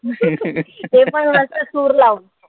तेपण मस्त सूर लावून.